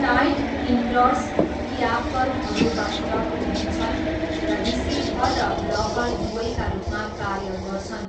Tight ends ट्याकलहरू बाहिर उभिन्छन् र रिसिभर र ब्लकर दुवैका रूपमा कार्य गर्छन्।